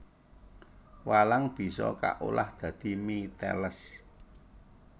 Walang bisa kaolah dadi mie teles